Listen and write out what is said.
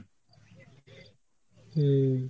হম